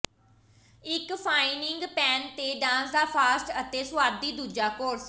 ਇੱਕ frying pan ਤੇ dance ਦਾ ਫਾਸਟ ਅਤੇ ਸੁਆਦੀ ਦੂਜਾ ਕੋਰਸ